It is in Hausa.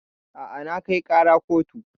A'a na kai ƙara kotu